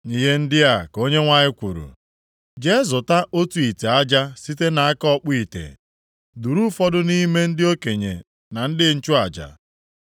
Ihe ndị a ka Onyenwe anyị kwuru, “Jee, zụta otu ite aja site nʼaka ọkpụ ite. Duru ụfọdụ nʼime ndị okenye na ndị nchụaja,